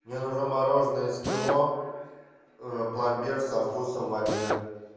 мне нужно мороженое эскимо пломбир со вкусом ванили